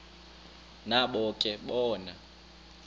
nabo ke bona